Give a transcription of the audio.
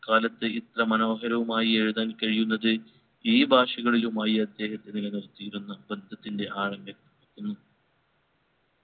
ഇക്കാലത്ത് ഇത്ര മനോഹരവുമായി എഴുതാൻ കഴിയുന്നത് ഈ ഭാഷകളിലുമായി അദ്ദേഹം നിലനിർത്തിയിരുന്ന ബന്ധത്തിൻറെ ആഴങ്ങളിൽ നിൽക്കുന്നു